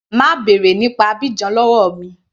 Má bèrè nípa Abidjan lọ́wọ́ mi.